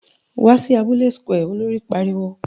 Wá sí abúlé square! Olori pariwo